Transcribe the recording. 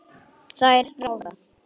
Þær ráða.